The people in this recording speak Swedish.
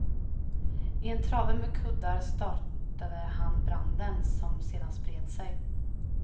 I en trave med kuddar startade han branden som sedan spred sig.